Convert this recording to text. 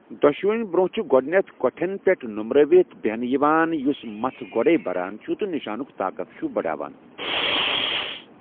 دۄشوٕنی برونٛہہ چھُ گۄدٕنیتھ کوٚٹھٮ۪ن پٮ۪ٹھ نوٚمرٲوِت بِہنہٕ یِوان یوٚس مژَھ گۄڈیٚے بران چھُ تہٕ نِشانُک طاقت چھُ بڑاوان۔